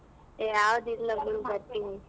ಏ ಯಾವ್ದಿಲ್ಲ ಬಿಡು ಬರ್ತೀನಿ .